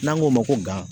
N'an k'o ma ko gan